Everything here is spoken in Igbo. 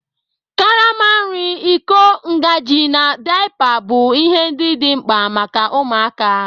Karama nri, iko, ngaji, na daipa bụ ihe ndị dị mkpa maka ụmụaka.